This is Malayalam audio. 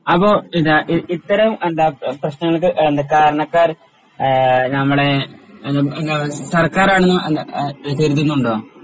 അപ്പോ എന്താ ഇ ഇത്തരം എന്താ പ്രശ്നങ്ങൾക്ക് കാരണക്കാര് ആഹ് നമ്മളെ എന്താ സർക്കാരാണെന്ന് അല്ല കരുതുന്നുണ്ടോ